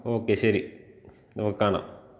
Okay ശരി. നമുക്ക് കാണാം.